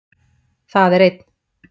Það er einn